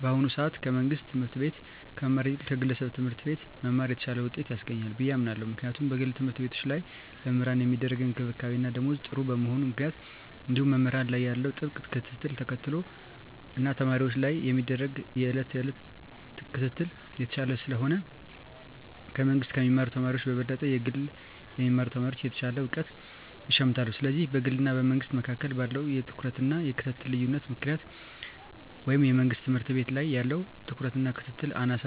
በአሁኑ ሰአት ከመንግስት ትምህርት ቤት ከመማር ይልቅ ከግለሰብ ትምህርት ቤት መማር የተሻለ ውጤት ያስገኛል ብየ አምናለው ምክንያቱም በግል ተምህርትቤቶች ላይ ለመምህራን ሚደረግ እንክብካቤና ደሞዝ ጥሩ በመሆኑ ምክንያት እንዲሁም መምህራን ላይ ያለው ጥብቅ ክትትልን ተከትሎ እና ተማሪወች ላይም የሚደረግ የየእለት ክትትል የተሻለ ስለሆነ ከመንግስ ከሚማሩ ተማሪወች በበለጠ ከግል የሚማሩ ተማሪወች የተሻለ እውቀት ይሸምታሉ ስለዚህ በግልና በመንግስ መካከል ባለው የትኩረትና የክትትል ልዮነት ምክንያት ወይም የመንግስት ትምህርት ቤት ላይ ያለው ትኩረትና ክትትል አናሳ